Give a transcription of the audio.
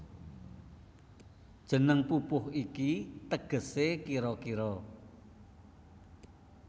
Jeneng pupuh iki tegesé kira kira